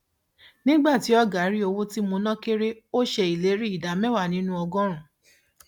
nígbà tí ọgá rí owó tí mo ná kère ó ṣe ìlérí ìdá mẹwàá nínú ọgọrùnún